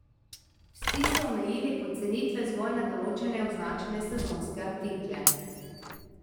Vsi so omejili pocenitve zgolj na določene označene sezonske artikle.